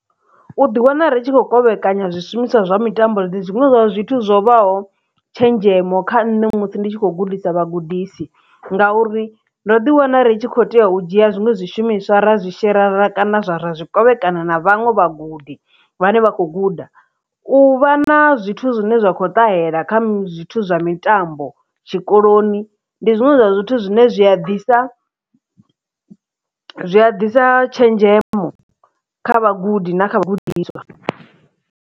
U ḓi wana ri tshi khou kovhekanya zwishumiswa zwa mitambo ndi zwiṅwe zwa zwithu zwo vhaho tshenzhemo kha nṋe musi ndi tshi kho gudisa vhagudisi ngauri ndo ḓi wana ri tshi khou tea u dzhia zwiṅwe zwishumiswa ra zwi shera ra kana zwa ra zwi kovhekana na vhaṅwe vha gudi vhane vha khou guda u vha na zwithu zwine zwa kho ṱahela kha zwithu zwa mitambo tshikoloni ndi zwiṅwe zwa zwithu zwine zwi a ḓisa zwi a ḓisa tshenzhemo kha vhagudi na kha vhagudiswa.